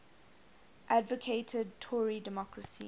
advocated tory democracy